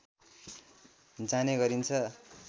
जाने गरिन्छ